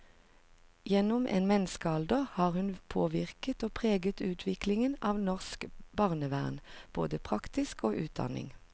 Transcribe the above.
Gjennom en menneskealder har hun påvirket og preget utviklingen av norsk barnevern, både praksis og utdanning.